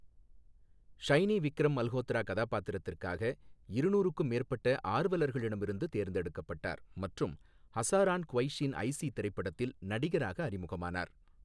ஷைனி விக்ரம் மல்ஹோத்ரா கதாபாத்திரத்திற்காக இருநூறுக்கும் மேற்பட்ட ஆர்வலர்களிடமிருந்து தேர்ந்தெடுக்கப்பட்டார் மற்றும் ஹசாரான் குவைஷீன் ஐசி திரைப்படத்தில் நடிகராக அறிமுகமானார்.